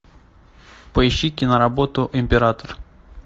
поищи киноработу император